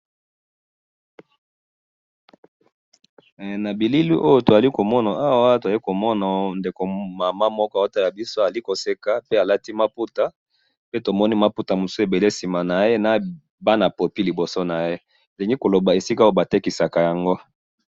na bilili oyo tozali komona awa, tozali komona ndeko mama moko azotala biso, alingi koseka, pe alati maputa, pe tomoni maputa mususu ebele sima naye, na bana popi liboso naye, tolingi koloba esika oyo batekisaka yango